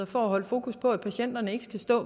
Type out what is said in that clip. for at holde fokus på at patienterne